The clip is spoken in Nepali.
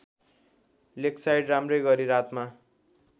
लेकसाइड राम्रैगरी रातमा